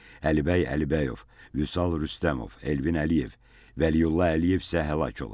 Əlibəy Əlibəyov, Vüsal Rüstəmov, Elvin Əliyev, Vəliyulla Əliyev isə həlak olub.